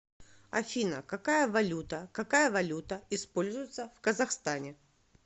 афина какая валюта какая валюта используется в казахстане